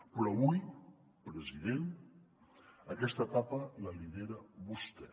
però avui president aquesta etapa la lidera vostè